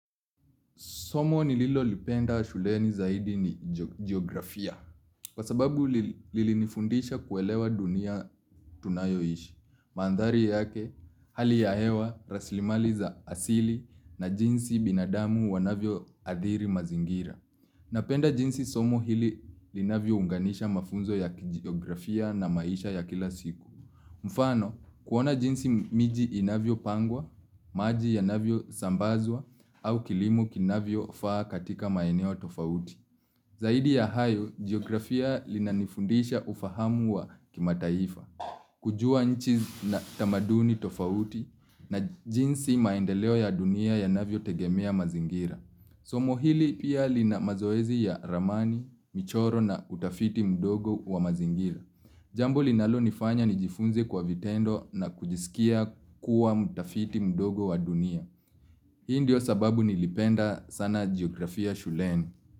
Somo ni lililopenda shuleni zaidi ni geografia. Kwa sababu lilinifundisha kuelewa dunia tunayoishi. Mandhari yake hali ya hewa, raslimali za asili na jinsi binadamu wanavyoadhiri mazingira. Napenda jinsi somo hili linavyounganisha mafunzo ya geografia na maisha ya kila siku. Mfano, kuona jinsi miji inavyopangwa, maji yanavyo sambazwa, au kilimu kinavyo faa katika maeneo tofauti. Zaidi ya hayo, geografia linanifundisha ufahamu wa kimataifa. Kujua nchi na tamaduni tofauti na jinsi maendeleo ya dunia ya navyotegemea mazingira. Somo hili pia lina mazoezi ya ramani, michoro na utafiti mdogo wa mazingira. Jambo linalonifanya nijifunze kwa vitendo na kujisikia kuwa mutafiti mdogo wa dunia. Hii ndio sababu nilipenda sana geografia shuleni.